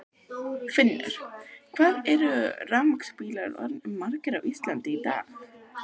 Finnur: Hvað eru rafmagnsbílar orðnir margir á Íslandi í dag?